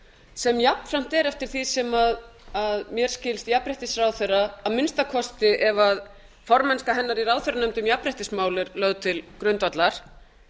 sem jafnframt er eftir því sem mér skilst jafnréttisráðherra að minnsta kosti ef formennska hennar í ráðherranefndinni um jafnréttismál er lögð til grundvallar